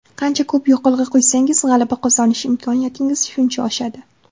Qancha ko‘p yoqilg‘i quysangiz g‘alaba qozonish imkoniyatingiz shuncha oshadi.